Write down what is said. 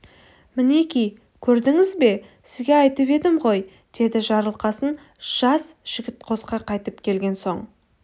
мінеки көрдіңіз бе сізге айтып едім ғой деді жарылқасын жас жігіт қосқа қайтып келген соң